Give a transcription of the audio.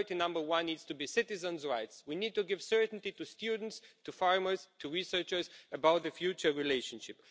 Priority number one needs to be citizens' rights. We need to give certainty to students, to farmers, to researchers about the future relationship.